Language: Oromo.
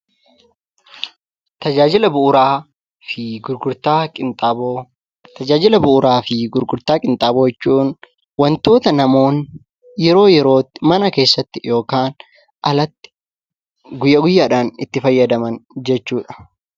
Tajaajila bu'uuraa fi gurgurtaa qinxaaboo Tajaajila bu'uuraa fi gurgurtaa qinxaaboo jechuun wantoota namoonni yeroo yerootti mana keessatti yookaan alatti guyya guyyaadhaan itti fayyadaman jechuu dha.